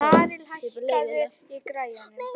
Marel, hækkaðu í græjunum.